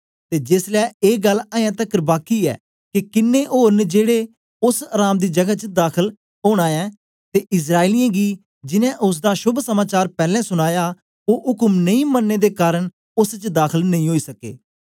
ते जेसलै ए गल्ल अयें तकर बाकी ऐ के किन्नें ओर न जेड़े ओस अराम दी जगै च दाखल ओना ऐ ते इस्राएलियें गी जिनैं ओसदा शोभ समाचार पैलैं सुनाया ओ उक्म नेई मनने दे कारन ओस च दाखल नेई ओई सके